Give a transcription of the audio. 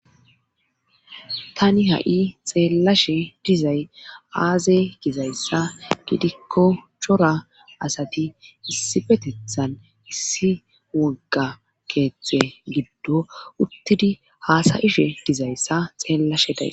tani ha7i xeellashe dizay aaze gizayssa gidikko chora asati issi petethan issi wogga keeththe giddo uttidi haasayishe dizayssa xeellashe day